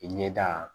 I ɲɛda